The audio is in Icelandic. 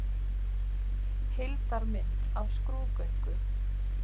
Heildarmynd af skrúðgöngu.